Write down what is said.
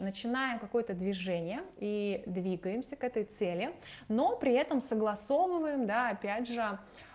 начинаем какое-то движение и двигаемся к этой цели но при этом согласовываем да опять же